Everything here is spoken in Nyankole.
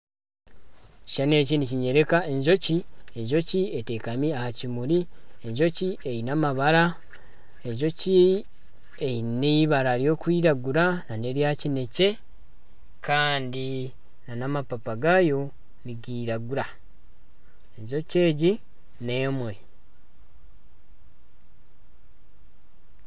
Ekishushani eki nikinyoreka enjoki, enjoki etekami aha kimuri, enjoki eine amabara, enjoki eine eibara ry'okwiragura na nerya kinekye kandi na n'amapapa gaayo nigiragura, enjoki egi n'emwe.